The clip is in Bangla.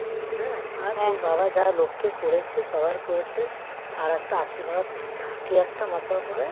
হ্যাঁ আর তোর বাবা যা লোককে করেছে সবার করেছে তার একটা আশীর্বাদ থাকে একটা মাথার ওপরে